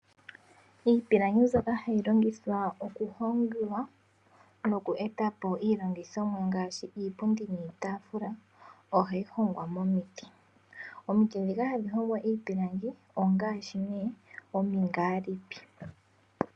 Iipilangi mbyoka hayi longithwa oku hongwa noku eta po iilongomwa ngaashi iipundi niitafula oha yi hongwa momiti. Omiti ndhoka hadhi hongwa iipilangi ongaashi nee omingaalipi.